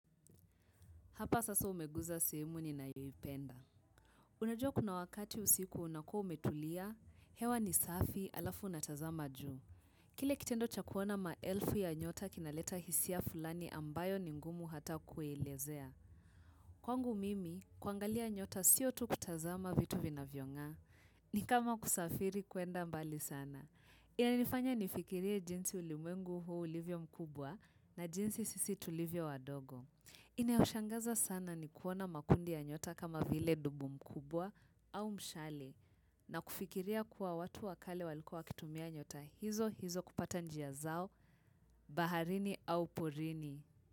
Hapa sasa umeguza simu ninayoipenda. Unajua kuna wakati usiku unakuwa umetulia, hewa ni safi halafu unatazama juu. Kile kitendo cha kuona maelfu ya nyota kinaleta hisia fulani ambayo ni ngumu hata kuelezea. Kwangu mimi, kuangalia nyota siyo tu kutazama vitu vinavyong'aa. Ni kama kusafiri kwenda mbali sana. Inanifanya nifikirie jinsi ulimwengu huu ulivyo mkubwa na jinsi sisi tulivyo wadogo. Inayoshangaza sana ni kuona makundi ya nyota kama vile dubu mkubwa au mshale na kufikiria kuwa watu wa kale walikuwa wakitumia nyota hizo hizo kupata njia zao, baharini au porini.